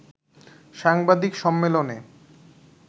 সাংবাদিক সম্মেলনে